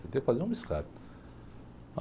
Tentei fazer um.